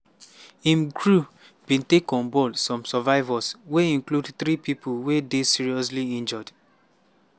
im crew bin take on board some survivors wey include three pipo wey dey seriously injured.